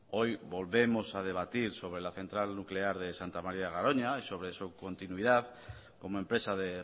hoy volvemos a debatir sobre la central nuclear de santa maría de garoña sobre su continuidad como empresa de